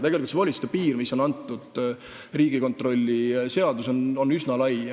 Tegelikult see volituste piir, mis on Riigikontrolli seaduses antud, on üsna lai.